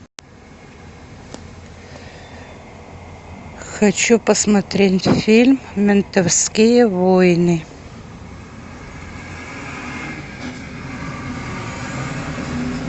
хочу посмотреть фильм ментовские войны